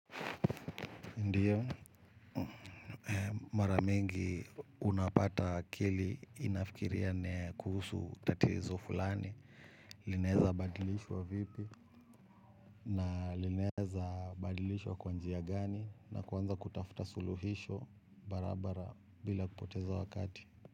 Ndiyo, mara mingi unapata akili inafikiria kuhusu tatizo fulani. Linaweza badilishwa vipi na linaweza badilishwa kwa njia gani. Na kuanza kutafuta suluhisho barabara bila kupoteza wakati.